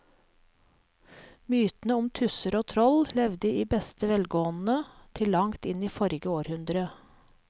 Mytene om tusser og troll levde i beste velgående til langt inn i forrige århundre.